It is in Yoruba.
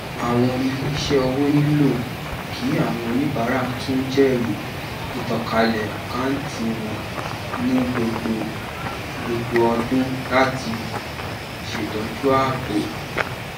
àwọn iléiṣẹ owó nílò kí àwọn oníbàárà tún jẹrìí ìtànkálẹ àkántì wọn ní gbogbo gbogbo ọdún láti ṣètọju ààbò